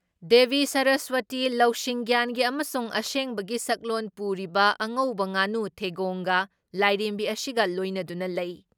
ꯗꯦꯕꯤ ꯁꯔꯁꯋꯇꯤ, ꯂꯧꯁꯤꯡꯒ꯭ꯌꯥꯟꯒꯤ ꯑꯃꯁꯨꯡ ꯑꯁꯦꯡꯕꯒꯤ ꯁꯛꯂꯣꯟ ꯄꯨꯔꯤꯕ ꯑꯉꯧꯕ ꯉꯥꯅꯨ ꯊꯪꯒꯣꯡꯒ ꯂꯥꯏꯔꯦꯝꯕꯤ ꯑꯁꯤꯒ ꯂꯣꯏꯅꯗꯨꯅ ꯂꯩ ꯫